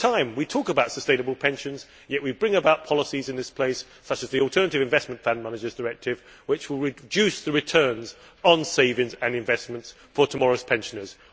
We talk about sustainable pensions, yet at the same time we bring about policies in this place such as the Alternative Investment Fund Managers Directive, which will reduce the returns on savings and investments for tomorrow's pensioners.